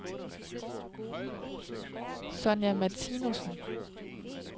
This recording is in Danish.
Sonja Martinussen